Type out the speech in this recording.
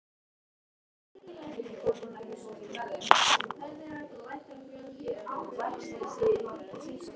Sá er búinn að standa á haus út af þér!